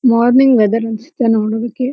Morning weather ಅನ್ನಿಸುತ್ತದೆ ನೋಡೊದಕ್ಕೆ.